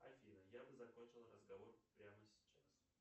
афина я бы закончил разговор прямо сейчас